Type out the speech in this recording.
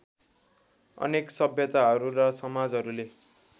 अनेक सभ्यताहरू र समाजहरूले